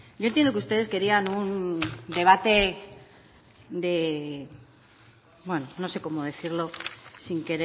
yo entiendo que ustedes querían un debate bueno no sé cómo decirlo sin